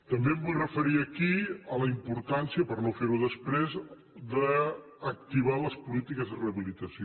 també em vull referir aquí a la importància per no fer ho després d’activar les polítiques de rehabilitació